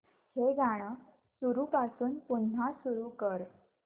हे गाणं सुरूपासून पुन्हा सुरू कर